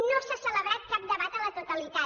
no s’ha celebrat cap debat a la totalitat